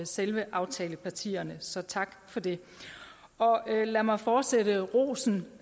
selve aftalepartierne så tak for det lad mig fortsætte rosen